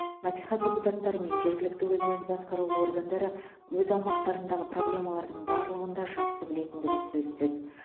мәслихат депутаттары мен жергілікті өзін өзі басқару органдары өз аумақтарындағы проблемалардың барлығын да жақсы білетіндігі сөзсіз